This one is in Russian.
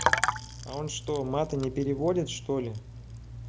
а он что мата не переводит что ли